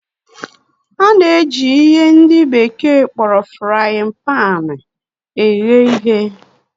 A na-eji ihe ndị bekee kpọrọ frayịn paanị eghe ihe.